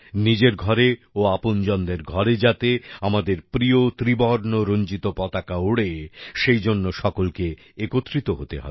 নিজের ঘরে ও আপনজনদের ঘরে যাতে আমাদের প্রিয় ত্রিবর্ণরঞ্জিত পতাকা ওড়ে সেই জন্য সকলকে একত্রিত হতে হবে